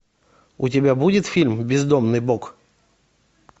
у тебя будет фильм бездомный бог